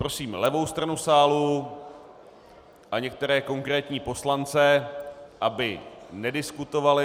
Prosím levou stranu sálu a některé konkrétní poslance, aby nediskutovali.